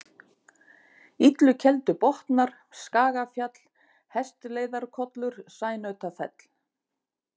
Illukeldubotnar, Skagafjall, Hestleiðarkollur, Sænautafell